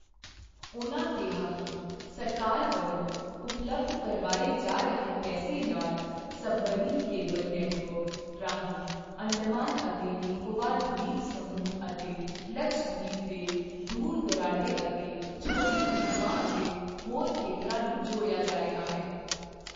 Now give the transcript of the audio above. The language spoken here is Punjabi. ਉਨ੍ਹਾਂ ਕਿਹਾ ਕਿ ਸਰਕਾਰ ਵਲੋਂ ਉਪਲਬਧ ਕਰਵਾਏ ਜਾ ਰਹੇ ਪੈਸੇ ਨਾਲ ਸਬਮੈਰਿਨ ਕੇਬਲ ਨੈੱਟਵਰਕ ਰਾਹੀਂ ਅੰਡਮਾਨ ਅਤੇ ਨਿਕੋਬਾਰ ਦ੍ਵੀਪਸਮੂਹ ਅਤੇ ਲਕਸ਼ਦ੍ਵੀਪ ਦੇ ਦੂਰ ਦੁਰਾਡੇ ਅਤੇ ਛੋਟੇ ਦ੍ਵੀਪਾਂ ਅਤੇ ਹੋਰ ਖੇਤਰਾਂ ਨੂੰ ਜੋੜਿਆ ਜਾ ਰਿਹਾ ਹੈ।